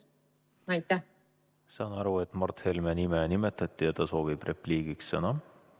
Ma saan aru, et Mart Helme nime nimetati ja ta soovib repliigiks sõna.